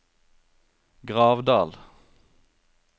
Gravdal